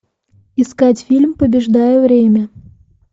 искать фильм побеждая время